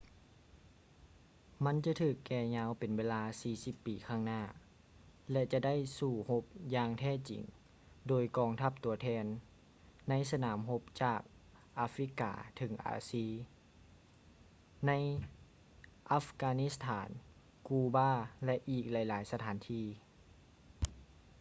ມັນຈະຖືກແກ່ຍາວເປັນເວລາ 40 ປີຂ້າງໜ້າ ແລະ ຈະໄດ້ສູ້ຮົບຢ່າງແທ້ຈິງ ໂດຍກອງທັບຕົວແທນ ໃນສະໜາມຮົບຈາກອາຟຼິກກາເຖິງອາຊີ ໃນອັບການິດສະຖານ ກູບາ ແລະ ອີກຫຼາຍໆສະຖານທີ່